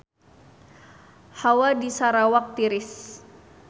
Hawa di Sarawak tiris